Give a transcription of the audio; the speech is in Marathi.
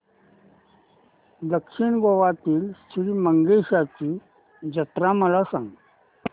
दक्षिण गोव्यातील श्री मंगेशाची जत्रा मला सांग